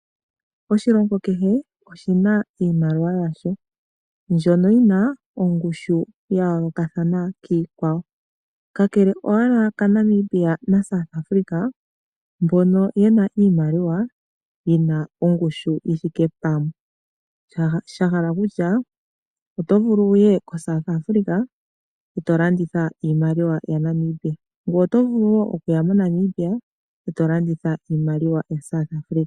Oshilongo kehe oshi na iimaliwa yasho mbyono yi na ongushu ya yoolokathana kiikwawo kakele owala kaNamibia naSouth Africa mbono ye na iimaliwa yi na ongushu yi thike pamwe, sha hala okutya oto vulu okuya koSouth Africa e to landitha iimaliwa yaNamibia. Ngoye oto vulu wo okuya moNamibia e to landitha iimaliwa yaSouth Africa.